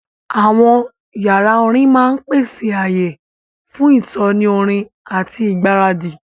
Àwọn yàrá orin máa ń pèsè ààyè fún ìtọ́ni orin àti ìgbáradì.